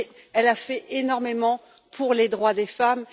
Elle a aussi fait énormément pour les droits des femmes.